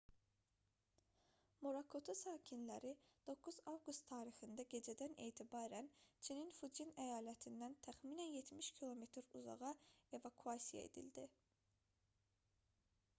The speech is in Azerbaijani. morakotu sakinləri 9 avqust tarixində gecədən etibarən çinin fucyen əyalətindən təxminən 70 km uzağa evakuasiya edildi